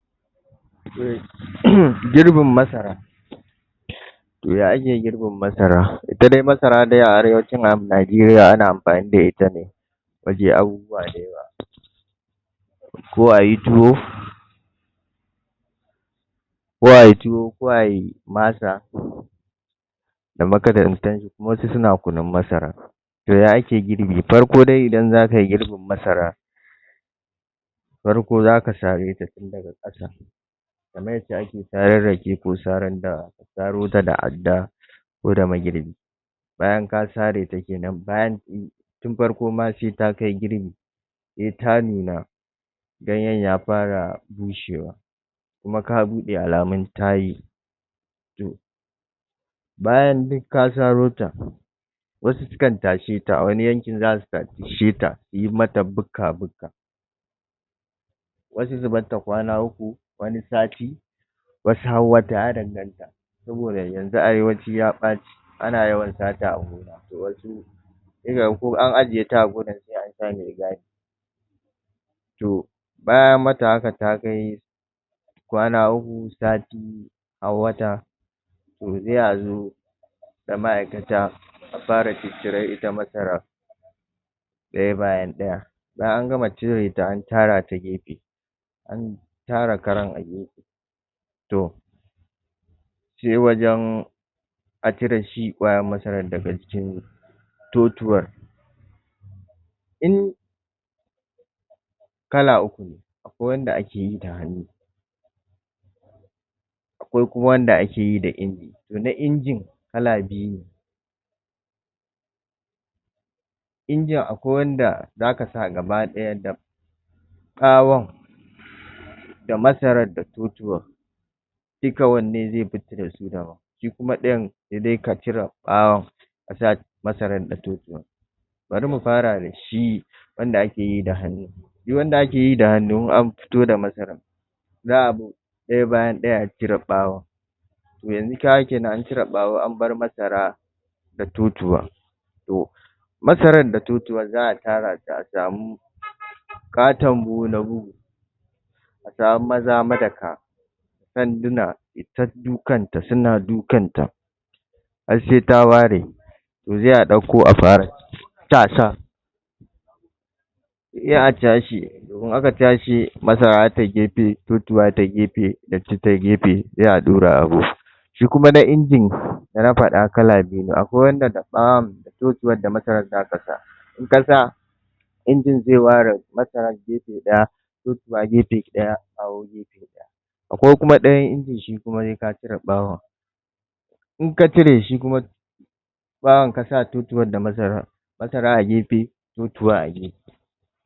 um girbin masara to ya ake girbin masara ita dai masara dai a arewacin najeriya ana amfani da ita ne waje abubuwa dayawa ko a y i tuwo ko ayi tuwo ko ayi masa da wasu suna kunun masara to ya ake girbi, farko dai idan zaka yi girbin masara farko zaka sareta tun daga ƙasa kamar yanda ake saran rake ko saran dawa sarota da adda ko da magirbi bayan ka sareta kenan bayan um tun farko ma sai ta kai girbi sai ta nuna ganyen ya fara bushewa kuma ka buɗe alamun ta yi to bayan duk ka sarota wasu sukan tasheta a wani yankin za su tasheta in mata buka-buka wasu su barta kwana uku, wani sati wasu har wata ya danganta saboda yanzu arewaci ya ɓace ana yawan sata a gona to wasu sai ka ga ko an ajeta a gonan sai an sa mai-gadi to bayan an mata haka ta kai kwana uku sati har wata to sai a zo da ma'aikata a fara ciccire ita masaran ɗaya bayan ɗaya bayan an gama cireta an tarata gefe an tara karan a gefe to sai wajen a cire shi ƙwayar masaran daga jikin totuwar in kala uku ne akwai wanda ake yi hannu akwai kuma wanda ake yi da inji to na injin kala biyu ne injin akwai wanda zaka sa gaba-ɗaya da ɓawon da masarar da totuwan duka wanne zai fita da su daban shi kuma ɗayan sai dai ka cire ɓawon ka sa masaran da totuwar bari mu fara da shi wanda ake yi da hannu shi wanda ake yi da hannu in an fito da masaran za a bi ɗaya bayan ɗaya a cire ɓawon to yanzu ka ga kenan an cire ɓawo an bar masara da totuwan to masaran da totuwar za a tara ta a asamu ƙaton buhu na bugu a samu maza madaka sanduna suta dukanta suna dukanta har sai ta ware to sai ɗauko a fara tasa sai cashe to in aka cashe masara zata yi gefe totuwa zata yi gefe datti ta yi gefe sai a ɗaura a buhu shi kuma na injin da na faɗa kala biyu ne akwai wanda da ɓawon totuwar da masarar zaka sa in ka sa injin zai ware masarar gefe ɗaya totuwa gefe ɗaya bayo gefe daya akwai kuma ɗayan injin shi kuma sai ka cire ɓawon in ka cire shi kuma ɓawon ka sa totuwar da masaran masara a a gefe totuwa a agefe